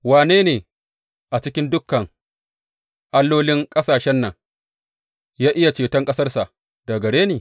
Wanne a cikin dukan allolin ƙasashen nan ya iya ceton ƙasarsa da gare ni?